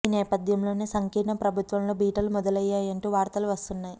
ఈ నేపథ్యంలోనే సంకీర్ణ ప్రభుత్వం లో బీటలు మొదలయ్యాయి అంటూ వార్తలు వస్తున్నాయి